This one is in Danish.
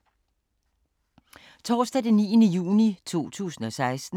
Torsdag d. 9. juni 2016